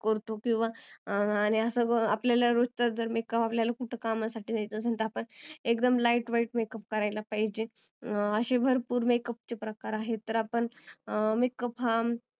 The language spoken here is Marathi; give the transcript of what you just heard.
करतो किंवा आणि आपल्याला रोजचाच जर makeup करायचा असेल किंवा आपल्याला कुठ कामासाठी जायचं असेल एकदम lightwhitemakeup करायला पाहिजेल असे भरपुर makeup चे प्रकार आहे तर आपण makeup हा